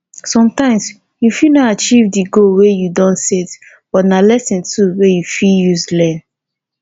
sometimes you fit no achieve di goal wey you don set but na lesson too wey you fit use learn